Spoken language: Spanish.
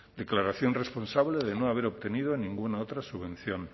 declaración responsable de no haber obtenido ninguna otra subvención